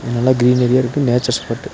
இது நல்ல க்ரீநரியா இருக்கு நேச்சர் ஸ்பாட்டு .